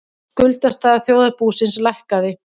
Skuldastaða þjóðarbúsins lækkaði